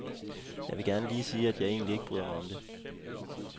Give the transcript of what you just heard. Jeg vil gerne lige sige, at jeg egentlig ikke bryder mig om det.